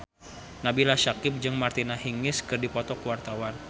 Nabila Syakieb jeung Martina Hingis keur dipoto ku wartawan